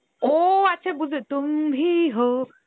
ও আচ্ছা বুঝতে পেরেছি Hindi